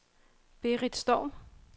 Berit Storm